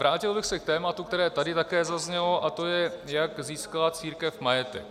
Vrátil bych se k tématu, které tady také zaznělo, a to je, jak získala církev majetek.